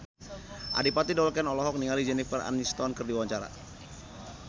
Adipati Dolken olohok ningali Jennifer Aniston keur diwawancara